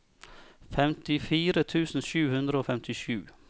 femtifire tusen sju hundre og femtisju